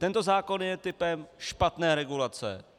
Tento zákon je typem špatné regulace.